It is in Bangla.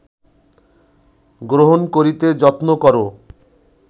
গ্রহণ করিতে যত্ন কর